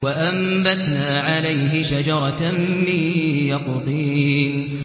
وَأَنبَتْنَا عَلَيْهِ شَجَرَةً مِّن يَقْطِينٍ